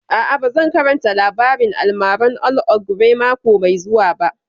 A'a, ba zan karanta labarin almaran old ogre mako mai zuwa